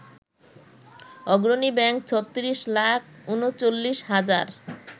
অগ্রণী ব্যাংক ৩৬ লাখ ৩৯ হাজার